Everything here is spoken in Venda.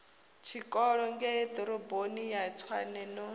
tshikolo ngeiḓoroboni ya tshwane no